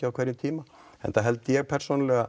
á hverjum tíma enda held ég